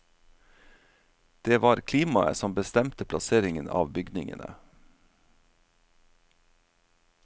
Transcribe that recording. Det var klimaet som bestemte plasseringen av bygningene.